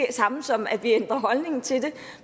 det samme som at vi ændrer holdning til det